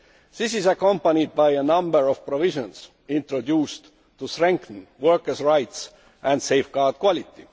This is accompanied by a number of provisions introduced to strengthen workers' rights and safeguard quality.